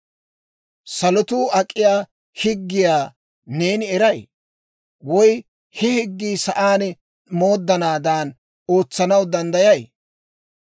Salotuu ak'iyaa higgiyaa neeni eray? Woy he higgii sa'aan mooddanaadan ootsanaw danddayay?